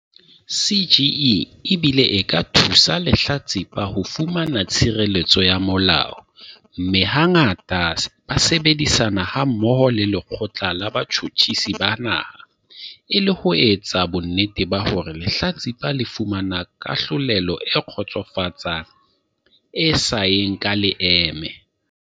CGE e bile e ka thusa lehlatsipa ho fumana tshireletso ya molao mme hangata ba sebedisana hammoho le Lekgotla la Botjhutjhisi ba Naha e le ho etsa bonnete ba hore lehlatsipa le fumana kahlolelo e kgotsofatsang e sa yeng ka leeme.